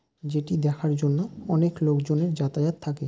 যেটি দেখার জন্য অনেক লোকজনের যাতায়াত থাকে ।